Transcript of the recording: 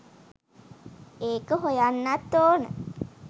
ඒක හොයන්නත් ඕන